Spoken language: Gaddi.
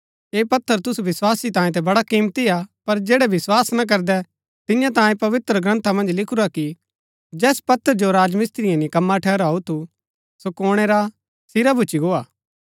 ऐह पत्थर तुसु विस्वासी तांये ता बड़ा किमती हा पर जैड़ै विस्वास ना करदै तिन्या तांये पवित्रग्रन्था मन्ज लिखुरा कि जैस पत्थर जो राजमिस्त्रिये निकम्मा ठहराऊ थू सो कोणै रा सिरा भूच्ची गोआ